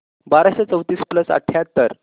बाराशे चौतीस प्लस अठ्याहत्तर